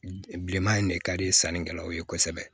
Bilenman in ne ka di sannikɛlaw ye kosɛbɛ